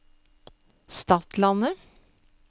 Stadlandet